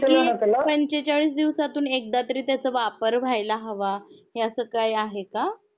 म्हणजे कि पंचेचाळीस दिवसातुन एकदा तरी त्याचा वापर व्हायेला हवा हे अस काही आहे का?